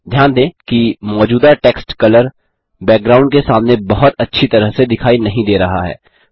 ध्यान दें कि मौजूदा टेक्स्ट कलर बैकग्राउंड के सामने बहुत अच्छी तरह से दिखाई नहीं दे रहा है